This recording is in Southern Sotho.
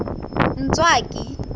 ntswaki